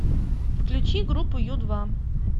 включи группу ю два